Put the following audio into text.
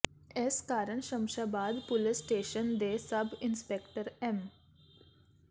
ਇਸ ਕਾਰਨ Shamshabad police station ਦੇ ਸਬ ਇੰਸਪੈਕਟਰ ਐੱਮ